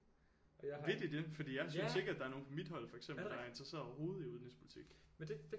Vil de det fordi jeg synes ikke at der er nogen på mit hold for eksempel der er interesserede overhovedet i udenrigspolitik